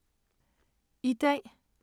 I dag